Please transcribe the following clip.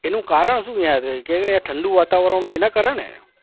એનું કારણ શું યાર? કેમ કે ઠંડુ વાતવરણ હોય એના કારણે?